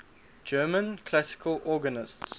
german classical organists